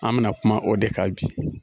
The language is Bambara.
An bɛna kuma o de ka bi